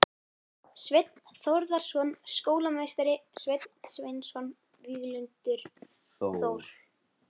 Sveinn Þórðarson skólameistari, Sveinn Sveinsson, Víglundur Þór